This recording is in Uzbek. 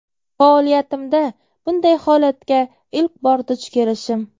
Faoliyatimda bunday holatga ilk bor duch kelishim.